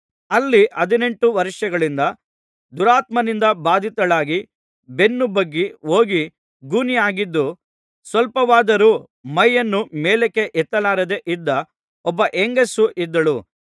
ಅಲ್ಲಿ ಹದಿನೆಂಟು ವರ್ಷಗಳಿಂದ ದುರಾತ್ಮನಿಂದ ಬಾಧಿತಳಾಗಿ ಬೆನ್ನು ಬಗ್ಗಿ ಹೋಗಿ ಗೂನಿಯಾಗಿದ್ದು ಸ್ವಲ್ಪವಾದರೂ ಮೈಯನ್ನು ಮೇಲಕ್ಕೆ ಎತ್ತಲಾರದೆ ಇದ್ದ ಒಬ್ಬ ಹೆಂಗಸು ಇದ್ದಳು